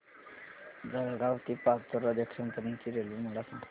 जळगाव ते पाचोरा जंक्शन पर्यंतची रेल्वे मला सांग